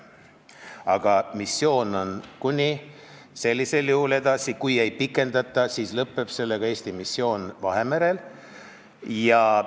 Aga missioon on kuni selleni seal edasi, kui ei pikendata, siis sellega Eesti missioon Vahemerel lõpeb.